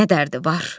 Nə dərdi var?